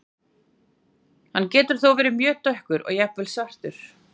Hann getur þó verið mjög dökkur og jafnvel svartur.